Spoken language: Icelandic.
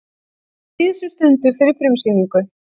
Á síðustu stundu fyrir frumsýningu